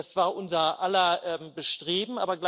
Das war unser aller Bestreben.